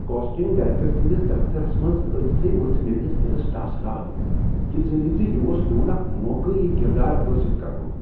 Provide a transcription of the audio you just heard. Casting director سٕندِس دفترس منٛز أژۍ تھٕے ؤژھ میٲنس دِلس ٹاسراے، یِہ زٲنتھ زِ یِہ اوٚس میون اکھ موقع یِہ کردار حٲصل کرنُک ۔